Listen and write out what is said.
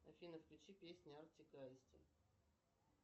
афина включи песни артик и асти